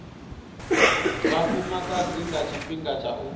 vhafumakadzi nga tshifhinga tsha u